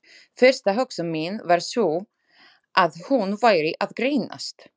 Fyrsta hugsun mín var sú, að hún væri að grínast.